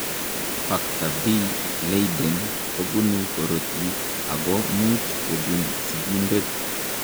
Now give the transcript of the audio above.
Factor V Leiden kobunu korotik ako much kobun sigindet.